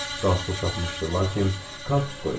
Qalsuq taxmışdı, lakin kartuz qoymuşdu.